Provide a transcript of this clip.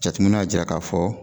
Jateminɛw y'a jira ka fɔ